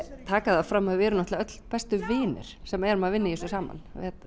taka það fram að við erum öll bestu vinir sem erum að vinna í þessu saman